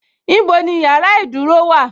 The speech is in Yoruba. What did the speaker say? Ibo ni yàrá ìdúró wà:?